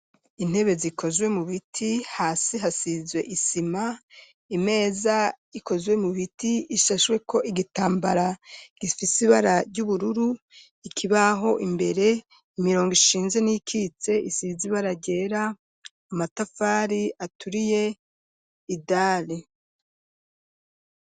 Intebe zikozwe mu biti hasi hasizwe isima imeza ikozwe mu biti ishashweko igitambara gifise ibara ry'ubururu, ikibaho imbere imirongo ishinze n'iyikitse isize ibara ryera, amatafari aturiye, idari.